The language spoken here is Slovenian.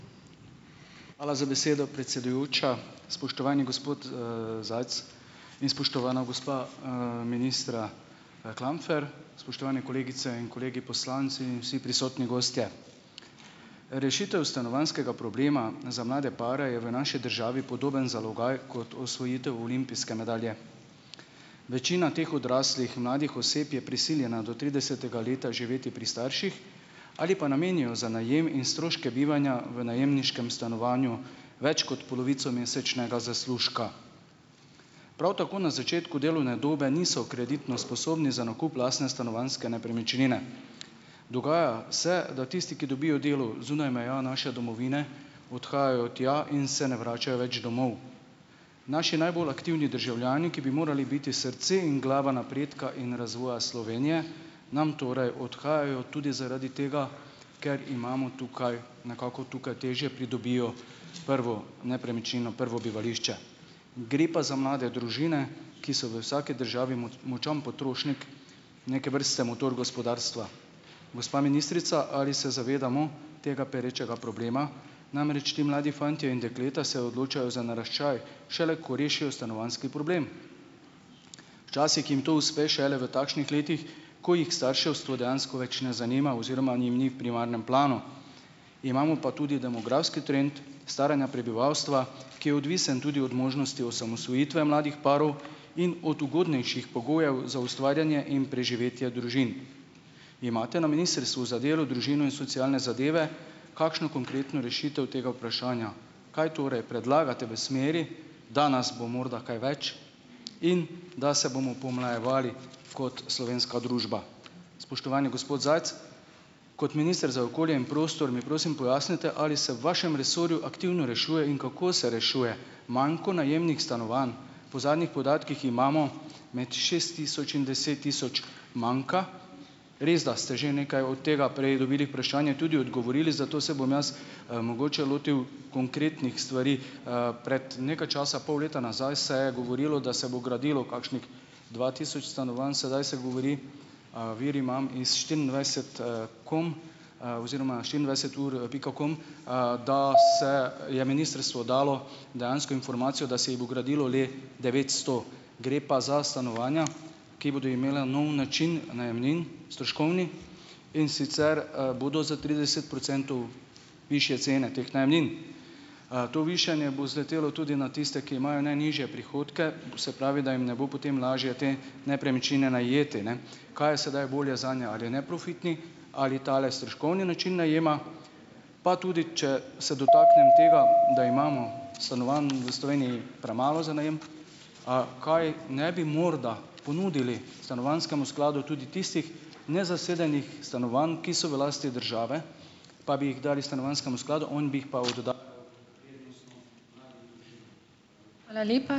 Hvala za besedo, predsedujoča. Spoštovani gospod, Zajc in spoštovana gospa, ministra, Klampfer, spoštovane kolegice in kolegi poslanci in vsi prisotni gostje! Rešitev stanovanjskega problema za mlade pare je v naši državi podoben zalogaj kot osvojitev olimpijske medalje. Večina teh odraslih, mladih oseb je prisiljena do tridesetega leta živeti pri starših ali pa namenijo za najem in stroške bivanja v najemniškem stanovanju več kot polovico mesečnega zaslužka. Prav tako na začetku delovne dobe niso kreditno sposobni za nakup lastne stanovanjske nepremičnine. Dogaja se, da tisti, ki dobijo delo zunaj meja naše domovine, odhajajo tja in se ne vračajo več domov. Naši najbolj aktivni državljani, ki bi morali biti srce in glava napredka in razvoja Slovenije, nam torej odhajajo tudi zaradi tega, ker imamo tukaj ... Nekako tukaj težje pridobijo prvo nepremičnino, prvo bivališče. Gre pa za mlade družine, ki so v vsaki državi močan potrošnik, neke vrste motor gospodarstva. Gospa ministrica, ali se zavedamo tega perečega problema, namreč ti mladi fantje in dekleta se odločajo za naraščaj šele, ko rešijo stanovanjski problem? Včasih jim to uspe šele v takšnih letih, ko jih starševstvo dejansko več ne zanima oziroma jim ni v primarnem planu. Imamo pa tudi demografski trend staranja prebivalstva, ki je odvisno tudi od možnosti osamosvojitve mladih parov in od ugodnejših pogojev za ustvarjanje in preživetje družin. Imate na Ministrstvu za delo, družino in socialne zadeve kakšno konkretno rešitev tega vprašanja? Kaj torej predlagate v smeri, da nas bo morda kaj več in da se bomo pomlajevali kot slovenska družba? Spoštovani gospod Zajc, kot minister za okolje in prostor mi prosim pojasnite, ali se v vašem resorju aktivno rešuje in kako se rešuje manko najemnih stanovanj? Po zadnjih podatkih imamo med šest tisoč in deset tisoč manka. Res, da ste že nekaj od tega prej dobili vprašanje, tudi odgovorili, zato se bom jaz, mogoče lotil konkretnih stvari. Pred nekaj časa, pol leta nazaj se je govorilo, da se bo gradilo kakšnih dva tisoč stanovanj, sedaj se govori, vir imam iz štiriindvajset, com, oziroma štiriindvajset ur pika com, da se je ministrstvo dalo dejansko informacijo, da se jih bo gradilo le devetsto, gre pa za stanovanja, ki bodo imela nov način najemnin, stroškovni, in sicer, bodo za trideset procentov višje cene teh najemnin. To višanje bo zletelo tudi na tiste, ki imajo najnižje prihodke, to se pravi, da jim ne bo potem lažje te nepremičnine najeti, ne. Kaj je sedaj bolje zanje - ali neprofitni, ali tale stroškovni način najema? Pa tudi, če se dotaknem tega, da imamo stanovanj v Sloveniji premalo za najem, kaj ne bi morda ponudili stanovanjskemu skladu tudi tistih nezasedenih stanovanj, ki so v lasti države, pa bi jih dali stanovanjskemu skladu, on bi jih pa ...